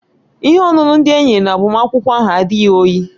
Ihe ọṅụṅụ ndị e nyere na agbamakwụkwọ ahụ adịghị oyi